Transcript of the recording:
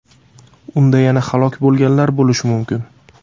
Unda yana halok bo‘lganlar bo‘lishi mumkin.